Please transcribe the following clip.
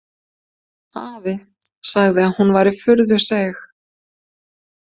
Afi sagði að hún væri furðu seig.